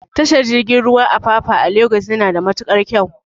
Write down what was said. Tashar jirgin ruwan Apapa a Lagos yana da matukar kyau